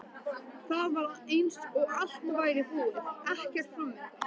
Það var eins og allt væri búið, ekkert framundan.